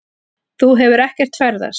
Þú hefur ekkert ferðast.